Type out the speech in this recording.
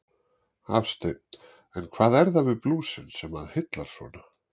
Hafsteinn: En hvað er það við blúsinn sem að heillar svona?